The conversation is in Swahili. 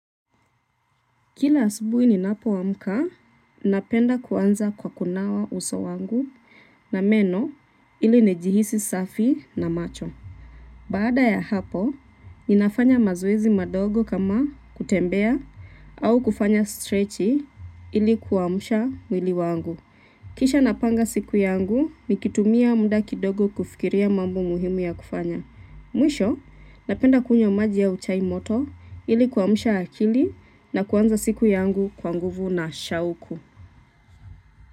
Kila asubuhi ninapo amka, napenda kuanza kwa kunawa uso wangu na meno ili nijihisi safi na macho. Baada ya hapo, ninafanya mazoezi madogo kama kutembea au kufanya strechi ili kuamsha mwili wangu. Kisha napanga siku yangu, nikitumia muda kidogo kufikiria mambo muhimu ya kufanya. Mwisho, napenda kunywa maji au chai moto ili kuamsha akili na kuanza siku yangu kwa nguvu na shauku.